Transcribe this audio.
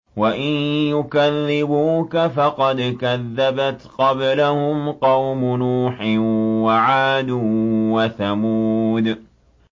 وَإِن يُكَذِّبُوكَ فَقَدْ كَذَّبَتْ قَبْلَهُمْ قَوْمُ نُوحٍ وَعَادٌ وَثَمُودُ